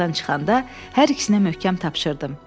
Otaqdan çıxanda hər ikisinə möhkəm tapşırdım.